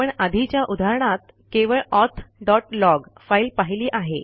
आपण आधीच्या उदाहरणात केवळ ऑथ डॉट लॉग फाईल पाहिली आहे